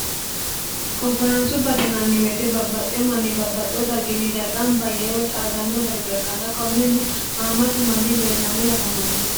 konforaansubate yinaanni woyeete babbaxxiyo manni babbaxxiyo darginni daye gamba yee woy xaadanno darga ikkanna konneno hammatu manni leellanno woy afamanno